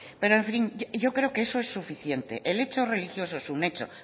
pero en fin yo creo que eso es suficiente el hecho religioso es un hecho